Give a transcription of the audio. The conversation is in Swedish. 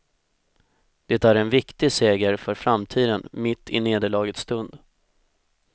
Det är en viktig seger för framtiden mitt i nederlagets stund.